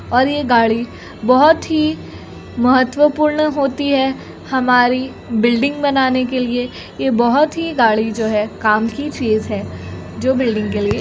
और ये गाड़ी बहुत ही महत्त्वपूर्ण होती है। हमारी बिल्डिंग बनाने के लिए ये बहुत ही गाड़ी जो है काम की चीज है जो बिल्डिंग के लिए।